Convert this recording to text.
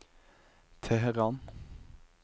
Teheran